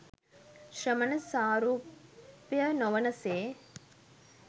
ශ්‍රමණ සාරුප්‍ය නොවන සේ